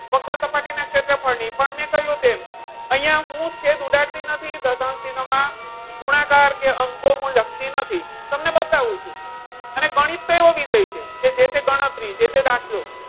વક્ર સપાટી ના ક્ષેત્રફળ ની પણ મેં કહ્યું તેમ અહીંયા હું છેદ ઉડાડતી નથી દશાંશ ચિન્હમાં ગુણાકાર કે અંકો હું લખતી નથી તમને બતાવું છું. અને ગણિત તો એવો વિષય છે જે તે ગણતરી જે તે દાખલો.